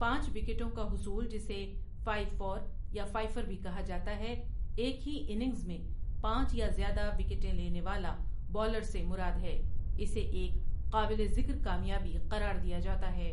پانچ وکٹوں کا حصول جسے فائیو فار یا فائفر بھی کہا جاتا ہے ایک ہی اننگز میں پانچ یا زیادہ وکٹیں لینے والا بولر سے مراد ہے اسے ایک قابل ذکر کامیابی قرار دیا جاتا ہے ۔